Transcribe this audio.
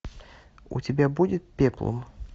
у тебя будет пеплум